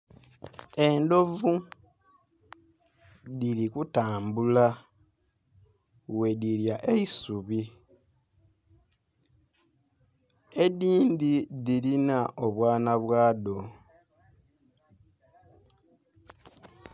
Endhovu dhiri ku tambula bwe dhilya eisubi edindhi dhilina obwaana bwa dho.